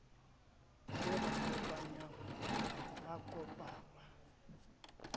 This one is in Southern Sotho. se ba kopanyang ba kopangwa